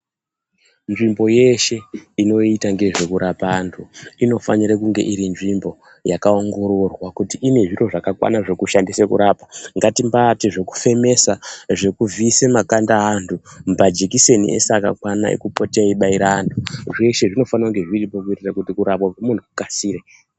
Nzvimbo yeshe inoita ngezvekurapa antu, inofanire kunge iri nzvimbo yakaongororwa kuti ine zviro zvakakwana zvekushandise kurapa. Ngatimbati zvekufemesa, zvekuvhiise makanda aantu, majikiseni eshe akakwana ekupote eyibaira antu. Zveshe zvinofanira kunge zviripo kuitira kuti kurapwa kwemunhu kukasire.